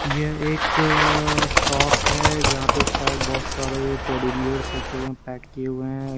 ये एक शॉप है जहां पे शायद बहुत सारे टेडी बीयर्स रखे हुए हैं पैक किए हुए हैं।